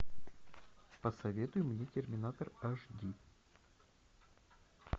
посоветуй мне терминатор аш ди